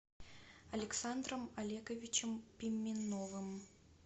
александром олеговичем пименовым